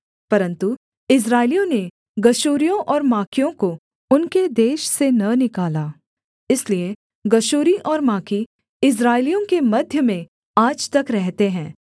परन्तु इस्राएलियों ने गशूरियों और माकियों को उनके देश से न निकाला इसलिए गशूरी और माकी इस्राएलियों के मध्य में आज तक रहते हैं